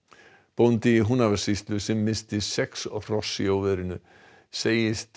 bóndi í Húnavatnssýslu sem missti sex hross í óveðrinu segist